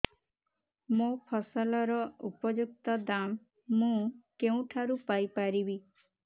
ମୋ ଫସଲର ଉପଯୁକ୍ତ ଦାମ୍ ମୁଁ କେଉଁଠାରୁ ପାଇ ପାରିବି